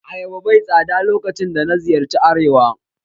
Ayaba bai tsada lokacin da na ziyarci arewa.